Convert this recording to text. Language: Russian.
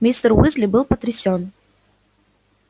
мистер уизли был потрясён